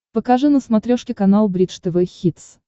покажи на смотрешке канал бридж тв хитс